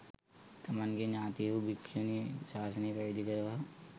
තමන්ගේ ඤාතීහු භික්‍ෂුණී ශාසනයේ පැවිදි කරවා